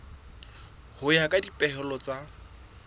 ho ya ka dipehelo tsa